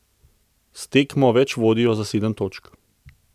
S tekmo več vodijo za sedem točk.